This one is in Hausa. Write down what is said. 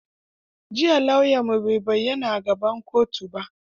Jiya lauyanmu bai bayyana a gaban kotu ba.